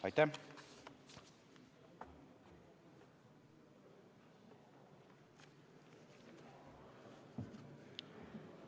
Aitäh!